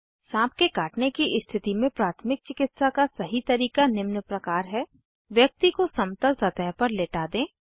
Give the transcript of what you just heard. साँप के काटने की स्थिति में प्राथमिक चिकित्सा का सही तरीका निम्न प्रकार है व्यक्ति को समतल सतह पर लेटा दें